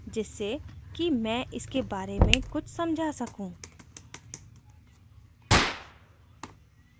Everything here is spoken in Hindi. जिससे कि मैं इसके बारे में कुछ समझा सकूँ